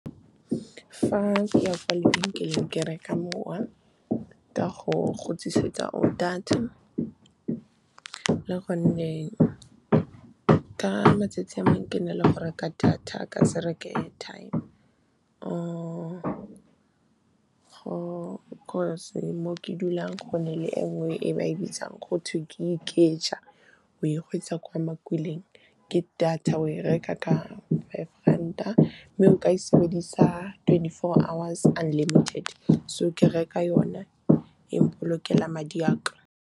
Fa ke ya kwa lebenkeleng, ke reka mowa ka go khutlisetsa go data. Le gonne ka matsatsi a mangwe ke na le go reka data ka se reke airtime or mo ke dulang go na le e nngwe e ba e bitsang, go twe Ikeja. O e gweetsa kwa makuleng ke data, o e reka ka five ranta mme o ka e sebedisa twenty-four hours, unlimited. So ke reka yone, e mpolokela madi a ka.